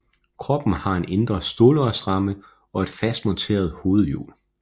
Kroppen har en indre stålrørsramme og et fast monteret hovedhjul